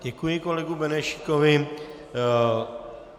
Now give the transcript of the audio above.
Děkuji kolegovi Benešíkovi.